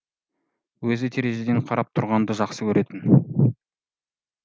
өзі терезеден қарап тұрғанды жақсы көретін